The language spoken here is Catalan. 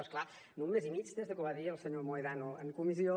però és clar no un mes i mig des que ho va dir el senyor mohedano en comissió